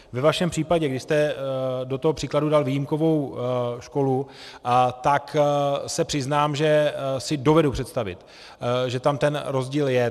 Ve vašem případě, kdy jste do toho příkladu dal výjimkovou školu, tak se přiznám, že si dovedu představit, že tam ten rozdíl je.